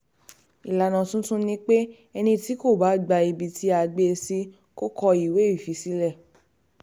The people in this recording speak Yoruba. ìlànà tuntun ni pé ẹni tí kò bá gba um ibi tá a gbé um e sí kò kọ̀wé fiṣẹ́ sílẹ̀